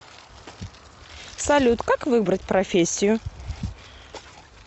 салют как выбрать профессию